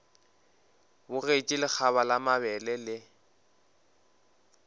bogetše lekgaba la mabele le